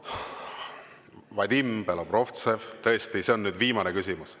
Vadim Belobrovtsev, tõesti, see on nüüd viimane küsimus.